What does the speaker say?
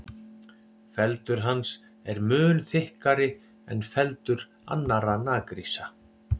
Feldur hans er mun þykkari en feldur annarra naggrísa.